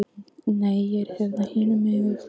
Nei, ég er hérna hinum megin við flóann.